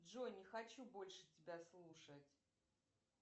джой не хочу больше тебя слушать